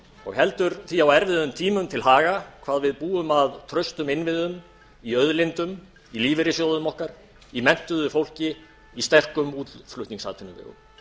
og heldur því á erfiðum tímum til haga hvað við búum að traustum innviðum í auðlindum í lífeyrissjóðum okkar í menntuðu fólki í sterkum útflutningsatvinnuvegum